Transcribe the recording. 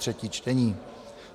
třetí čtení